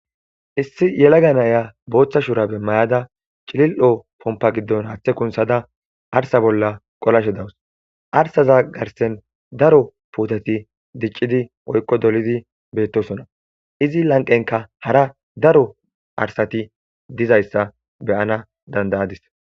issi yelaga naya booththa shurabe mayada cilil'o pompa giddon haaththe kunsada arsa bolla qolashe dawus arsaza garsen daro puutati diccidi woykko dolidi beettosona izi lanqenka hara daro arsati dizayssa beyana danda'adis